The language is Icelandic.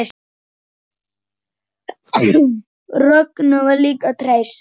Rögnu var líka treyst.